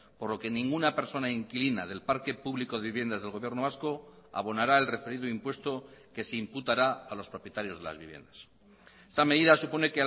por lo que ninguna persona inquilina del parque público de viviendas del gobierno vasco abonará el referido impuesto que se imputará a los propietarios de las viviendas esta medida supone